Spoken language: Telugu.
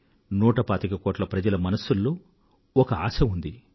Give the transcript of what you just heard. నూట పాతిక కోట్ల మంది దేశ ప్రజల మనసుల్లో ఒక ఆశ ఉంది